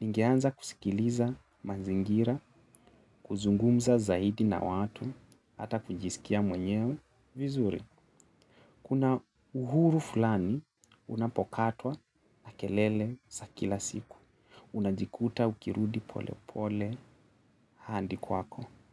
ningeanza kusikiliza manzingira, kuzungumza zaidi na watu, ata kujisikia mwenyewe. Vizuri, kuna uhuru fulani unapokatwa na kelele za kila siku. Unajikuta ukirudi pole pole handi kwako.